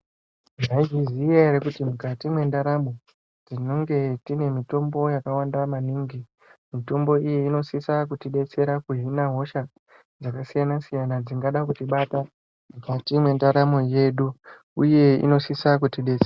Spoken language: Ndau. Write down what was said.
Mwaizviziya yere kuti mukati mwendaramo tinonge tine mitombo yakawanda maningi, mitombo iyi inosisa kutidetsera kuzvina hosha dzakasiyana-siyana dzingada kutibata mukati mwendaramo yedu uye inosisa kutidetsera.